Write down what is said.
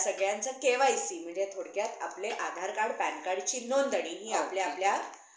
त्या सगळ्यांचा KYC म्हणजे थोडक्यात आपले आधार card पॅन card ची हि आपल्या आपल्या